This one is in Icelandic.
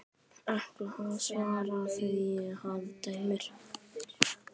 Ætli það, svaraði hann dræmt.